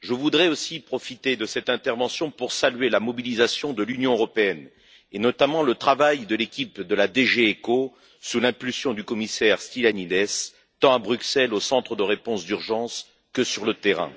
Je voudrais aussi profiter de cette intervention pour saluer la mobilisation de l'Union européenne, et notamment le travail de l'équipe de la DG ECHO, sous l'impulsion du commissaire Stylianides, tant à Bruxelles, au centre de réponse d'urgence, que sur le terrain.